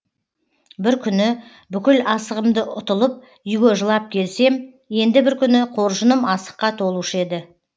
бір күні бүкіл асығымды ұтылып үйге жылап келсем енді бір күні қоржыным асыққа толушы еді